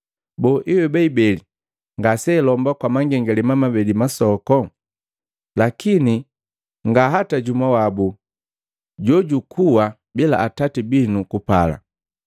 Boo, hiweba ibeli lee ngasealomba kwa mangengalema mabeli masoku? Lakini nga hata jumu wabu jojukuwa bila Atati binu kupala.